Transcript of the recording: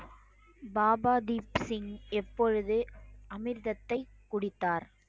பாபா தீப் சிங் எப்பொழுது அமிர்தத்தை குடித்தார்